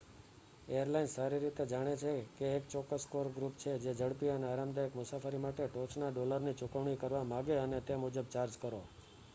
airlines સારી રીતે જાણે છે કે એક ચોક્કસ કોર ગ્રુપ છે જે ઝડપી અને આરામદાયક મુસાફરી માટે ટોચના ડોલરની ચૂકવણી કરવા માગે, અને તે મુજબ ચાર્જ કરો